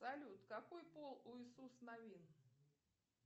салют какой пол у иисус навин